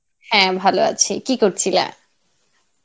হ্যাঁ, ভালো আছি কী করছিলা?